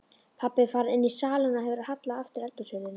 Pabbi er farinn inní salinn og hefur hallað aftur eldhúshurðinni.